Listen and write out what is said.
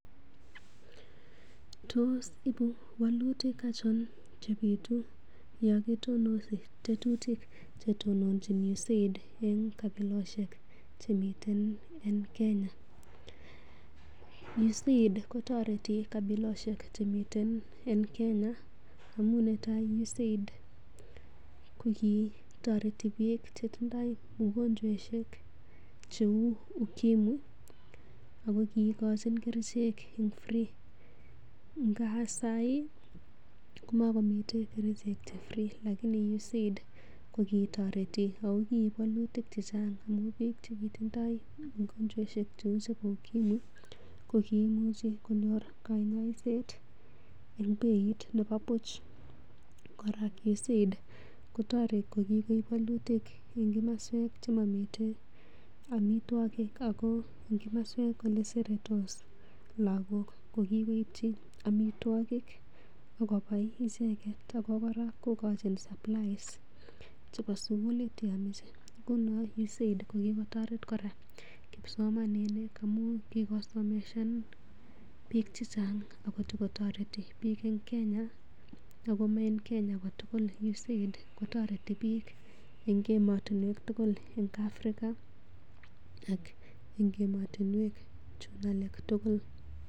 Tos ibuu wolutik achon che bituu yo kitonosi tetutik che tononjin 'USAID' en kabilosiek che miten en kenya? USAID kotoreti kabiloseik chemiten en KEnya amun netai USAID kogitoreti biik che tindoi mugonjwaishek cheu UKIMWI ago kiigochin kerichek free ngab saii komakomiten kerichek che free lakini USAID kokitoreti ago kiib walotik che chang amun biik che kitindoi mugonjwaishek cheu UKIMWI kokimuchi konyor kanyosiet en beit nebo buch. Kora USAID kotoreti kokigoip walutik en komoswek che momiten amitwogik ago en komoswek ole seretos lagok ko kigoipchi amitwogik ak kobai icheget ago kora kogochin supplies chebo sugulit ye amishe. Ngunon USAID ko kigotoret kora kipsomaninik amun kigosomesan biik che chang ago togotoreti biik en Kenya ago mo en Kenya kotugul. USAID kotoreti biik en emotinwek tugul en Africa ak en emotinwek chun alak tugul.